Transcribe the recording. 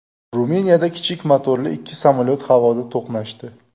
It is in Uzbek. Ruminiyada kichik motorli ikki samolyot havoda to‘qnashdi.